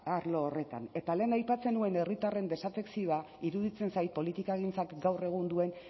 arlo horretan eta lehen aipatzen nuen herritarren desafekzioa iruditzen zait politikagintzak gaur egun duen